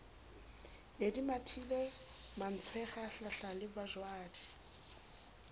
ne di mathile mantswenga hlahlalebajwadi